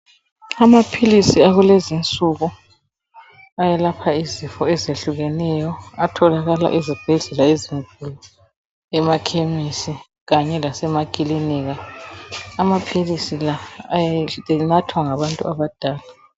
Amaphilisi akulezinsuku ayelapha izifo ezehlukeneyo atholakala ezibhedlela ezinkulu, emakhemesi kanye lasemakilinika. Amaphilisi la anathwa ngabantu abadala.